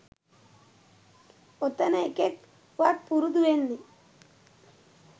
ඔතන එකෙක් වත් පුරුදු වෙන්න